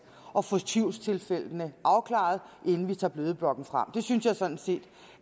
og få tvivlstilfældene afklaret inden vi tager bødeblokken frem det synes jeg sådan set